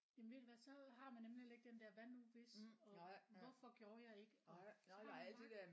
Jamen ved du hvad så har man nemlig heller ikke den der hvad nu hvis og hvorfor gjorde jeg ikke og så har man bare